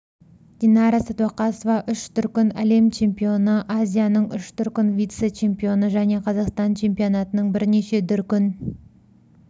динара сәдуақасова үш дүркін әлем чемпионы азияның үш дүркін вице-чемпионы және қазақстан чемпионатының бірнеше дүркін